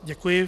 Děkuji.